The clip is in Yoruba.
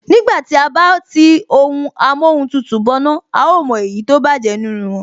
Nígbà tí à bá tí ohun amóhun tutù bọná, a ó mọ èyí tó bájẹ̀ nínú wọn